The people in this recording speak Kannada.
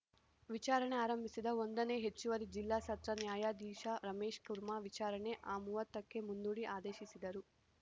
ವಿಚಾರಣೆ ಆರಂಭಿಸಿದ ಒಂದನೇ ಹೆಚ್ಚುವರಿ ಜಿಲ್ಲಾ ಸತ್ರ ನ್ಯಾಯಾಧೀಶ ರಮೇಶ್‌ ಕುರ್ಮಾ ವಿಚಾರಣೆ ಅ ಮೂವತ್ತೊಂದಕ್ಕೆ ಮುಂದೂಡಿ ಆದೇಶಿಸಿದರು